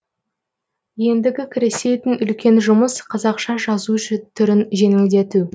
ендігі кірісетін үлкен жұмыс қазақша жазу түрін жеңілдету